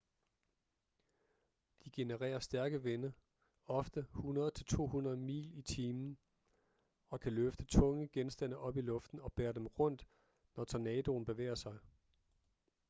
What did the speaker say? de genererer stærke vinde ofte 100-200 mil/time og kan løfte tunge genstande op i luften og bære dem rundt når tornadoen bevæger sig